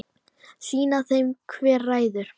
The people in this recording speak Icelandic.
Sýna þeim hver ræður.